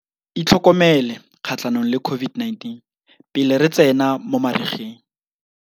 Itlhokomele kgatlhanong le COVID-19 pele re tsena mo marigeng.